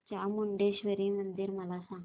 चामुंडेश्वरी मंदिर मला सांग